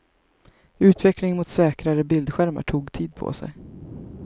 Utvecklingen mot säkrare bildskärmar tog tid på sig.